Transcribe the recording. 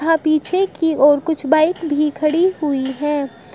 यहां पीछे की ओर कुछ बाइक भी खड़ी हुई हैं।